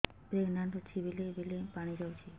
pregnant ଅଛି ବେଳେ ବେଳେ ପାଣି ଯାଉଛି